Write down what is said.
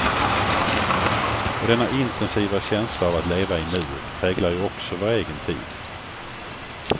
Och denna intensiva känsla av att leva i nuet präglar ju också vår egen tid.